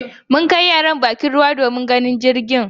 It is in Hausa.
Mun kai yaran bakin ruwa domin ganin jirgin.